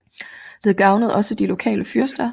Det gavnede også de lokale fyrster